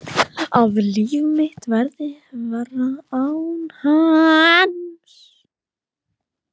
Að líf mitt verði verra án hans.